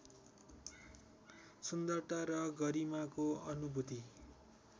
सुन्दरता र गरिमाको अनुभूति